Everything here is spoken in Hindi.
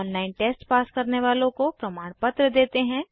ऑनलाइन टेस्ट पास करने वालों को प्रमाणपत्र देते हैं